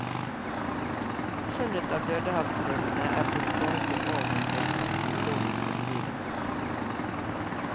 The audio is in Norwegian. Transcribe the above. Funnet av dødehavsrullene er blitt kalt århundrets arkeologiske begivenhet.